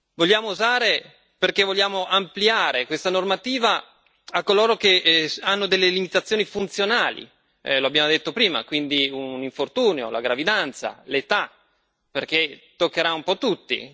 Vogliamo osare perché vogliamo ampliare questa normativa a coloro che hanno delle limitazioni funzionali, lo abbiamo detto prima, quindi un infortunio, la gravidanza, l'età, perché toccherà un po' a tutti.